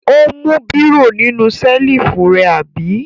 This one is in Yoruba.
Ó mú bírò nínú ṣẹ́lífù rẹ, àbí?